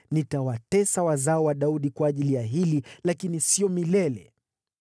Nitawatesa wazao wa Daudi kwa ajili ya hili, lakini siyo milele.’ ”